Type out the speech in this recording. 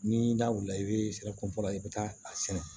Ni n da wulila i bɛ sira kun fɔlɔ i bɛ taa a sɛnɛ